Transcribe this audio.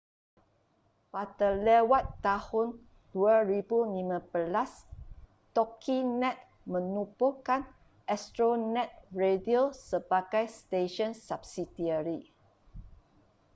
pada lewat tahun 2015 toginet menubuhkan astronet radio sebagai stesen subsidiari